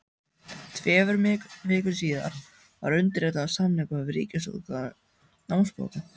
Tveimur vikum síðar var undirritaður samningur við Ríkisútgáfu námsbóka.